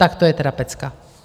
Tak to je teda pecka.